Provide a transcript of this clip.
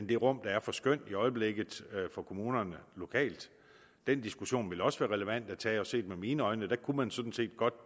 det rum der er for skøn i øjeblikket for kommunerne lokalt den diskussion ville også være relevant at tage og set med mine øjne kunne man sådan set godt